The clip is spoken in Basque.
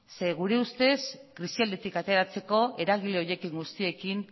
zeren gure ustez krisialditik ateratzeko eragile horiekin guztiekin